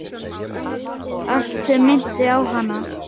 Allt sem minnti á hana.